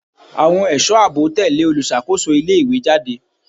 Àwọn ẹ̀sọ́ àbò tẹ̀lẹ́ olùṣàkóso ilé ìwé jáde.